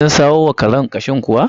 Kin samo wa karen ƙashin kuwa?